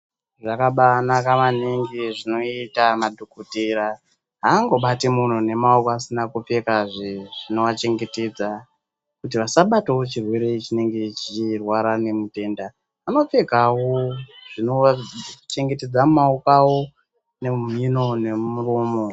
Zvakabaanaka maningi zvinoita madhokotera, aangobati munhu ndemaoko asina kupfeka zvinovachengetedza kuti vasabatawo chirwere chinenge cheirwara nemutenda. Vanopfekawo Zvinochengetedza maoko awo nemhino nemuromo.